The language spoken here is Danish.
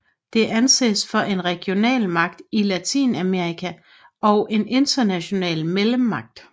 Det anses for en regionalmagt i Latinamerika og en international mellemmagt